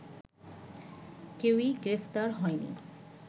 কেউই গ্রেপ্তার হয়নি